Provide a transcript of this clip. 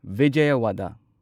Vijayawada